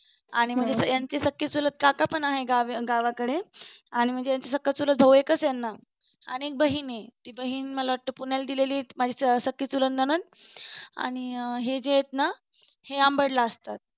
आणि म्हणजे यांचे सक्खे चुलत कर्क पण आहेत गावी म्हणजे गावाकडे आणि म्हणजे सक्खा चुलत भाऊ एकच आहे यांना आणि एक बहीण आहे आणि ती बहीण मला वाटत पुण्याला दिलेली आहे ती माझी सक्खी चुलत नणंद आणि हे जे आहेत ना ते अंबड ला असतात